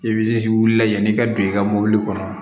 I b'i ji wuli yanni i ka don i ka mɔbili kɔnɔ